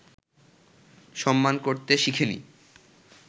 সম্মান করতে শিখিনি